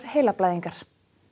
heilablæðingar